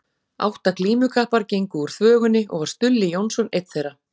Átta glímukappar gengu úr þvögunni og var Stulli Jónsson einn þeirra.